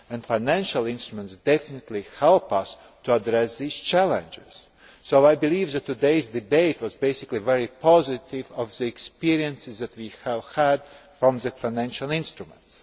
Financial instruments definitely help us to address these challenges. I believe that today's debate was basically very positive about the experience that we have had from the financial instruments.